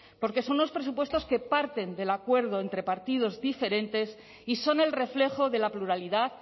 porque son unos presupuestos que parten del acuerdo entre partidos diferentes y son el reflejo de la pluralidad